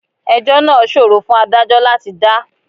Ẹjọ́ náà ṣòro fún Ádájọ́ láti dá.